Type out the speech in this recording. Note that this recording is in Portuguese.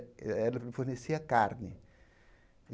fornecia carne.